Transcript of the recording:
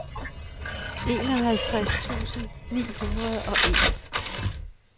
enoghalvtreds tusind ni hundrede og en